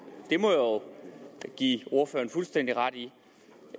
det må jeg give ordføreren fuldstændig ret i